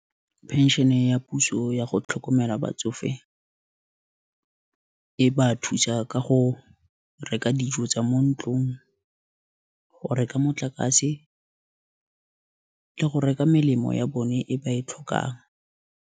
Pension e ya puso yago tlhokomela batsofe, e ba thusa ka go reka dijo tsa mo ntlong, go reka motlakase, go reka melemo ya bone e ba e tlhokang.